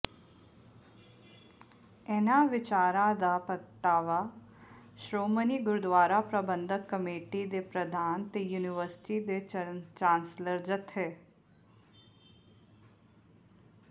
ਇਨ੍ਹਾਂ ਵਿਚਾਰਾਂ ਦਾ ਪ੍ਰਗਟਾਵਾ ਸ਼੍ਰੋਮਣੀ ਗੁਰਦੁਆਰਾ ਪ੍ਰਬੰਧਕ ਕਮੇਟੀ ਦੇ ਪ੍ਰਧਾਨ ਤੇ ਯੂਨੀਵਰਸਿਟੀ ਦੇ ਚਾਂਸਲਰ ਜਥੇ